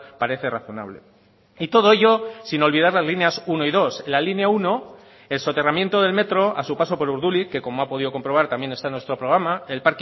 parece razonable y todo ello sin olvidar las líneas uno y dos la línea uno el soterramiento del metro a su paso por urduliz que como ha podido comprobar también está en nuestro programa el